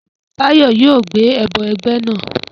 Tayo yoo gbe ẹbọ ẹgbẹ naa